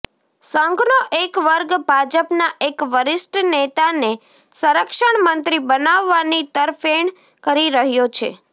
સંઘનો એક વર્ગ ભાજપના એક વરિષ્ઠ નેતાને સંરક્ષણ મંત્રી બનાવવાની તરફેણ કરી રહ્યો છે